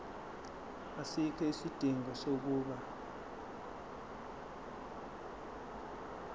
asikho isidingo sokuba